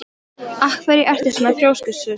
Af hverju ertu svona þrjóskur, Súsan?